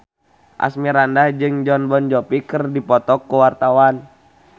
Asmirandah jeung Jon Bon Jovi keur dipoto ku wartawan